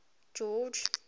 george